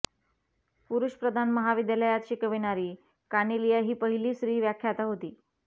पुरुषप्रधान महाविद्यालयात शिकविणारी कानेलिया ही पहिली स्त्री व्याख्याता होती